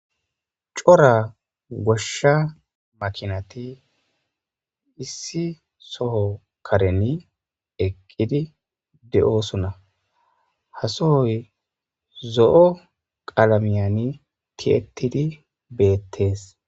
Cora goshsha makinati issi soho kareni eqqidi de7oosuna hasohoy zo7o qalamiyani ti7ettidi beettees.